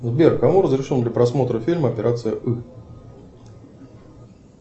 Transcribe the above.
сбер кому разрешен для просмотра фильм операция ы